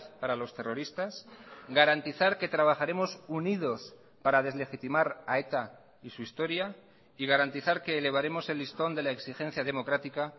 para los terroristas garantizar que trabajaremos unidos para deslegitimar a eta y su historia y garantizar que elevaremos el listón de la exigencia democrática